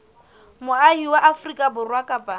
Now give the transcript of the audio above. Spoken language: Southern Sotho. moahi wa afrika borwa kapa